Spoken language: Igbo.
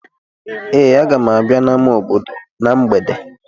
Ee, aga m abịa n'ámá obodo na mgbede.